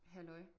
Halløj